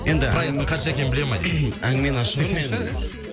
енді проездің қанша екенін біле ма дейді әнгімені ашып өтсе